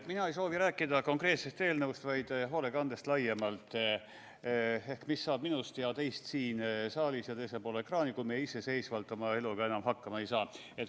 Mina ei soovi rääkida konkreetsest eelnõust, vaid hoolekandest laiemalt: mis saab minust ja teist siin saalis ja teisel pool ekraani, kui meie iseseisvalt oma eluga enam hakkama ei saa.